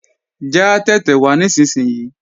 Já tẹ̀tẹ̀ wá nísinsìnyí!